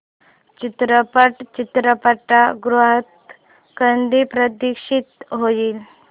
चित्रपट चित्रपटगृहात कधी प्रदर्शित होईल